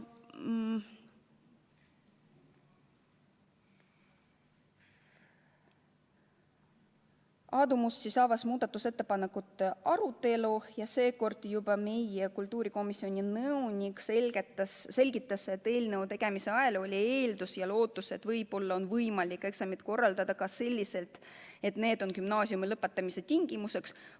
Aadu Must avas muudatusettepanekute arutelu ja seekord meie komisjoni nõunik selgitas, et eelnõu tegemise ajal oli eeldus ja lootus, et võib-olla on võimalik eksamid korraldada ka selliselt, et need on gümnaasiumi lõpetamise tingimuseks.